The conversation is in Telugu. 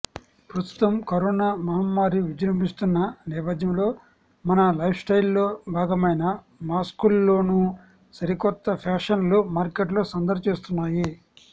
ప్రస్తుతం కరోనా మహమ్మారి విజృంభిస్తోన్న నేపథ్యంలో మన లైఫ్స్టైల్లో భాగమైన మాస్కుల్లోనూ సరికొత్త ఫ్యాషన్లు మార్కెట్లో సందడి చేస్తున్నాయి